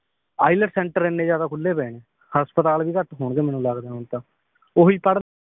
IELTS centre ਇੰਨੇ ਜ਼ਿਆਦਾ ਖੁੱਲੇ ਪਏ ਨੇ ਹਸਪਤਾਲ ਵੀ ਘੱਟ ਹੁਣਗੇ ਮਨੂੰ ਲੱਗਦਾ ਹੁਣ ਤਾਂ ਓਹੀ ਪੜ੍ਹ